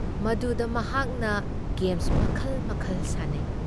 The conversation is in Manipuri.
ꯃꯗꯨꯨꯗ ꯃꯍꯥꯛꯅ ꯒꯦꯝꯁ ꯃꯈꯜ ꯃꯈꯜ ꯁꯥꯟꯅꯩ ꯫